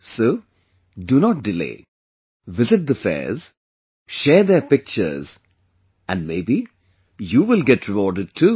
So do not delay, visit the fairs, share their pictures, and maybe you will get rewarded too